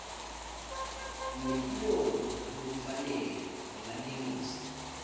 lwetinongo ngalokufanele ngemalengiso